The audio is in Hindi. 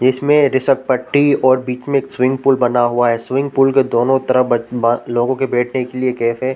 इसमें घिसट पट्टी और बीच में एक स्विमिंग पूल बना हुआ है स्विमिंग पूल के दोनों तरफ ब बा लोगों के बैठने के लिए कैस हैं।